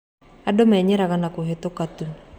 Andũ menyeraga na kũhĩtũka tu.